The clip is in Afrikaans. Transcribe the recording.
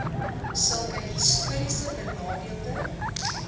sulke histories benadeelde